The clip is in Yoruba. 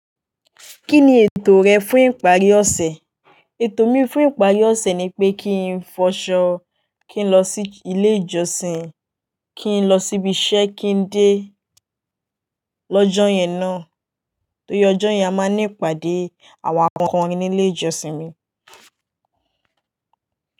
Kí ni ètò rẹ fún ìparí ọ̀sẹ̀? Ètò mi fún ìparí ọ̀sẹ̀ ni pé kí n fọṣọ, kí n lọ sí ilé ìjọsìn, kí n lọ sí ibi iṣẹ́ kí n dé lọ́jọ́ ìyẹn náà. Tó ri ojo yẹn a máa ní ìpàdé àwọn akọrin ní ilé ìjọsìn mi.